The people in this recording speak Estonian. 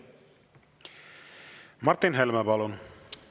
Martin Helme, palun!